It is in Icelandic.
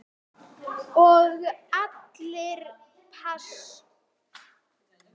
Og allir pass.